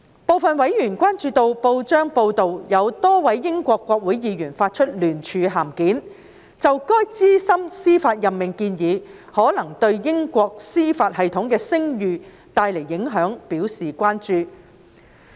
部分委員關注到報章報道指多位英國國會議員發出聯署函件，就該資深司法任命建議可能對英國司法系統的聲譽帶來的影響表達關注。